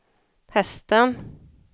hästen